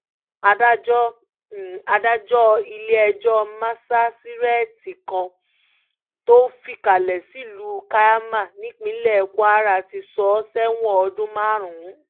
adájọ́ adájọ́ ilé-ẹjọ́ masasíréètì kan tó fìkàlẹ̀ sílùú kaiama nípínlẹ̀ kwara ti sọ ọ́ sẹ́wọ̀n ọdún márùn-ún